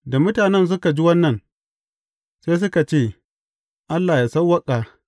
Da mutanen suka ji wannan, sai suka ce, Allah ya sawwaƙa!